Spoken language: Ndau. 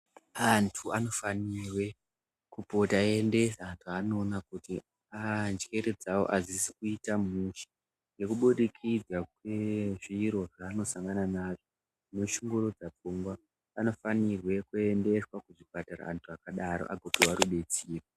Antu anofanirwe kupota eiendesa zvaanoona kuti aaa njere dzawo adzizi kuita mushe ngekubudikidza kwezviro zvaanosangana nazvo zvinoshungurudza pfungwa, anofanirwe kuendeswa kuchipatara antu akadaro agopiwa rudetsero.